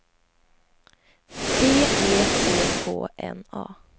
T E C K N A